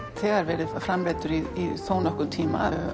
þegar verið framleiddur í þónokkurn tíma